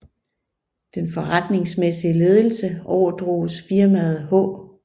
Den forretningsmæssige ledelse overdroges firmaet H